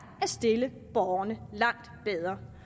stille borgerne langt bedre